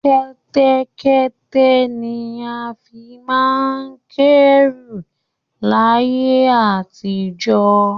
Kẹ́tẹ́kẹ́tẹ́ ni a fi máa ń kẹ́ru láyé àtijọ́